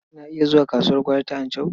Kina iya zuwa kasuwar gwari ta Anchau?